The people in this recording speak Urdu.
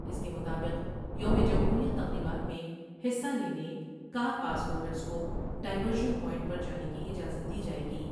اس کے مطابق یوم جمہوریہ تقریبات میں حصہ لینے کا ر پاس ہولڈرس کو ڈائیورشن پوائنٹ پر جانے کی اجازت دی جاۓ گی ۔